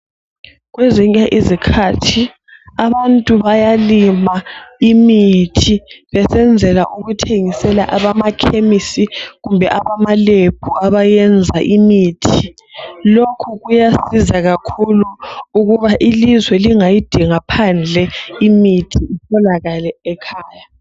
Kwezinye izikhathi abantu bayalima imithi besenzela ukuthengisela abamakhemisi kumbe abamaLab abayenza imithi lokhu kuyasiza kakhulu ukuba ilizwe lingayidinga phandle imithi itholakale ekhaya.